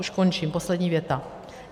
Už končím, poslední věta.